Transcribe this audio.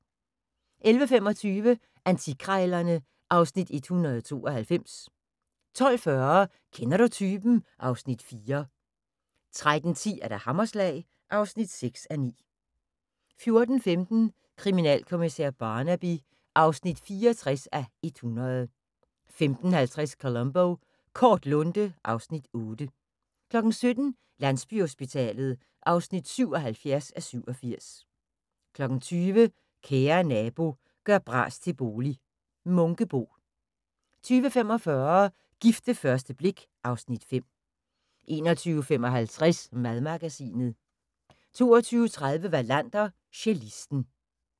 11:25: Antikkrejlerne (Afs. 192) 12:40: Kender du typen? (Afs. 4) 13:10: Hammerslag (6:9) 14:15: Kriminalkommissær Barnaby (64:100) 15:50: Columbo: Kort lunte (Afs. 8) 17:00: Landsbyhospitalet (77:87) 20:00: Kære Nabo – gør bras til bolig - Munkebo 20:45: Gift ved første blik (Afs. 5) 21:55: Madmagasinet 22:30: Wallander: Cellisten